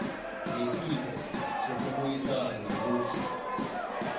nesipho sokubuyisana mut